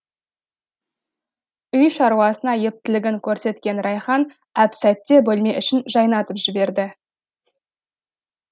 үй шаруасына ептілігін көрсеткен райхан әп сәтте бөлме ішін жайнатып жіберді